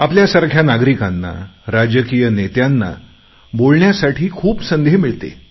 आपल्या सारख्या नागरिकांना राजकीय नेत्यांना बोलण्यासाठी खूप संधी मिळते